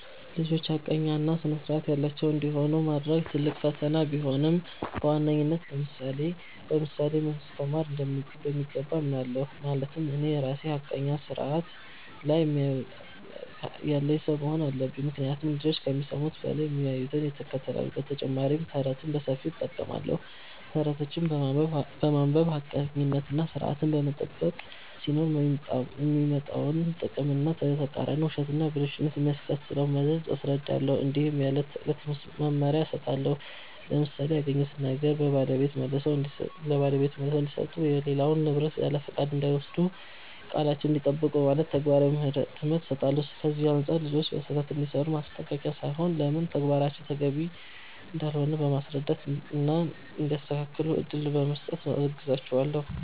ልጆች ሐቀኛ እና ሥርዐት ያላቸው እንዲሆኑ ማድረግ ትልቅ ፈተና ቢሆንም፣ በዋነኝነት በምሳሌ ማስተማር እንደሚገባ አምናለሁ። ማለትም እኔ ራሴ ሐቀኛና ሥርዐት ያለኝ ሰው መሆን አለብኝ፤ ምክንያቱም ልጆች ከሚሰሙት በላይ የሚያዩትን ይከተላሉ። በተጨማሪም ተረትን በሰፊው እጠቀማለሁ። ተረቶችን በማንበብ ሐቀኝነትና ሥርዐትን መጠበቅ ሲኖር የሚመጣውን ጥቅም እና በተቃራኒው ውሸትና ብልሹነት የሚያስከትለውን መዘዝ አስረዳለሁ። እንዲሁም የዕለት ተዕለት መመሪያ እሰጣለሁ፣ ለምሳሌ “ያገኙትን ነገር ለባለቤቱ መልሰው እንዲሰጡ”፣ “የሌላውን ንብረት ያለፍቃድ እንዳይወስዱ”፣ “ቃላቸዉን እንዲጠብቁ ” በማለት ተግባራዊ ትምህርት እሰጣለሁ። ከዚህ አንጻር ልጆች ስህተት ሲሠሩ በማስጠንቀቅ ሳይሆን ለምን ተግባራቸው ተገቢ እንዳልሆነ በማስረዳት እና እንዲያስተካክሉ እድል በመስጠት አግዛቸዋለሁ።